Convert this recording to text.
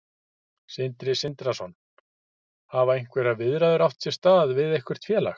Sindri Sindrason: Hafa einhverjar viðræður átt sér stað við eitthvert félag?